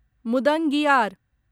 मुदंगियार